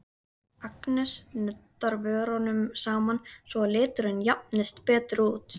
Agnes nuddar vörunum saman svo að liturinn jafnist betur út.